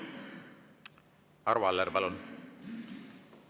Arvo Aller, palun!